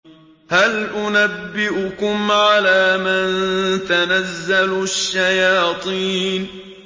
هَلْ أُنَبِّئُكُمْ عَلَىٰ مَن تَنَزَّلُ الشَّيَاطِينُ